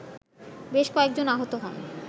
বেশ কয়েকজন আহত হন